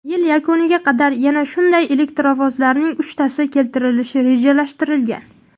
Yil yakuniga qadar yana shunday elektrovozlarning uchtasi keltirilishi rejalashtirilgan.